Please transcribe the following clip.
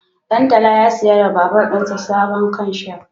Ɗantala ya siya wa babur ɗinsa sabon kanshaf